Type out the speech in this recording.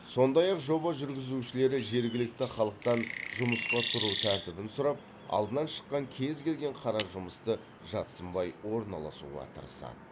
сондай ақ жоба жүргізушілері жергілікті халықтан жұмысқа тұру тәртібін сұрап алдынан шыққан кез келген қара жұмысты жат сынбай орналасуға тырысады